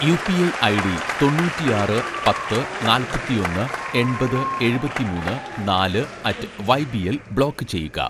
UPI ID തൊണ്ണൂറ്റിആറ് പത്ത് നാല്‍പത്തിഒന്ന് എണ്‍പത് എഴുപത്തിമൂന്ന് നാല് അറ്റ്‌ വൈബിഎൽ ബ്ലോക്ക് ചെയ്യുക